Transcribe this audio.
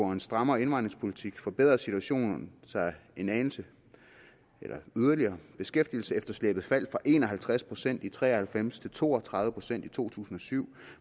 og en strammere indvandringspolitik forbedredes situationen en anelse yderligere beskæftigelsesefterslæbet faldt fra en og halvtreds procent i nitten tre og halvfems til to og tredive procent i to tusind og syv